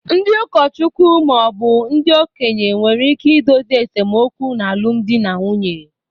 Ndị ụkọchukwu ma ọ bụ ndị okenye nwere ike idozi esemokwu n’alụmdi na nwunye